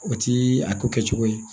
O ti a ko kɛ cogo ye